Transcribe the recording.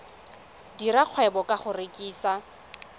dira kgwebo ka go rekisa